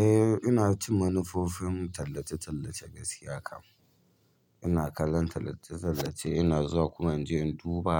Eh, ina cin manufofin tallace-tallace gaskiya kan. Ina kallon tallace-tallace, ina zuwa kuma in je in duba